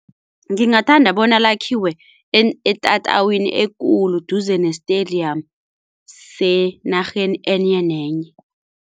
Ngingathanda bona lakhiwe etatawini ekulu duze ne-stadium senarheni enye nenye.